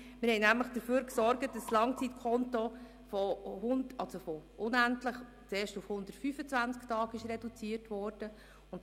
Wir sorgten dafür, dass derartige Langzeitkontos von unendlich vielen auf 125 Tage reduziert wurden;